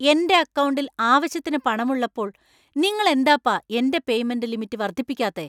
എന്‍റെ അക്കൗണ്ടിൽ ആവശ്യത്തിന് പണമുള്ളപ്പോൾ നിങ്ങൾ എന്താപ്പാ എന്‍റെ പേയ്‌മെന്‍റ് ലിമിറ്റ് വർദ്ധിപ്പിക്കാത്തേ ?